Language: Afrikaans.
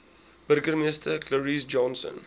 burgemeester clarence johnson